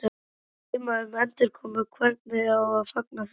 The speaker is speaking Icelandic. Að dreyma um endurkomu, hvernig á að fagna því?